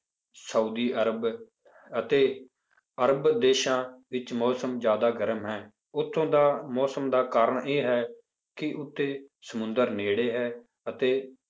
Saudi Arab ਅਤੇ ਅਰਬ ਦੇਸਾਂ ਵਿੱਚ ਮੌਸਮ ਜ਼ਿਆਦਾ ਗਰਮ ਹੈ ਉੱਥੋਂ ਦਾ ਮੌਸਮ ਦਾ ਕਾਰਨ ਇਹ ਹੈ ਕਿ ਉੱਥੇ ਸਮੁੰਦਰ ਨੇੜੇ ਹੈ ਅਤੇ